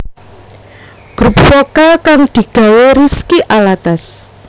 Grup Vokal kang digawe Rizky Alatas